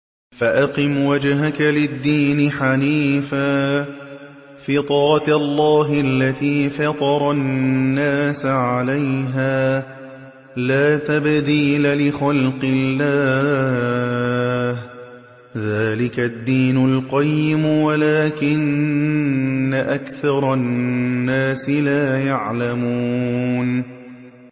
فَأَقِمْ وَجْهَكَ لِلدِّينِ حَنِيفًا ۚ فِطْرَتَ اللَّهِ الَّتِي فَطَرَ النَّاسَ عَلَيْهَا ۚ لَا تَبْدِيلَ لِخَلْقِ اللَّهِ ۚ ذَٰلِكَ الدِّينُ الْقَيِّمُ وَلَٰكِنَّ أَكْثَرَ النَّاسِ لَا يَعْلَمُونَ